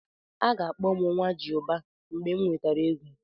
A ga-akpọ m "Nwajiụba" mgbe m nwetara ego.